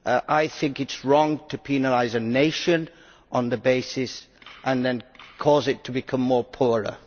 I think it is wrong to penalise a nation on that basis and then cause it to become poorer.